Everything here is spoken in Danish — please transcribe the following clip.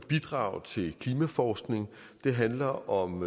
bidrag til klimaforskning det handler om